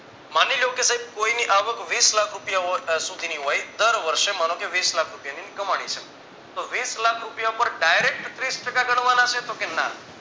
માની લ્યો કે સાહેબ કોઈની આવક વીસલાખ રૂપિયા સુધીની હોય દર વર્ષે માનો કે વીસલાખ ની કમાની છે તો વીસલાખ રૂપિયા પર dairect ત્રીસ ટકા ગણવાના છે કે તો ના